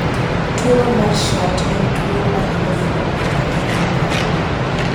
TURO mar SHORT en tuwo ma hinyo fuonde mang'eny mag del.